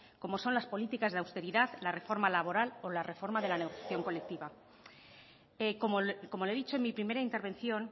como son las políticas de austeridad la reforma laboral o la reforma de la negociación colectiva como le he dicho en mi primera intervención